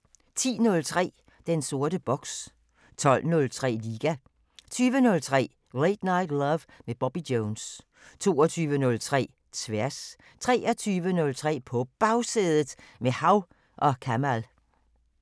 10:03: Den sorte boks 12:03: Liga 20:03: Late Night Love med Bobby Jones 22:03: Tværs 23:03: På Bagsædet – med Hav & Kamal